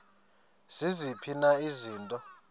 ziziphi na izinto